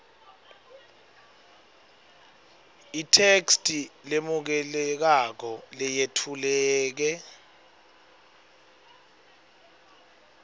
itheksthi lemukelekako leyetfuleke